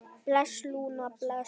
Bless, Lúna, bless.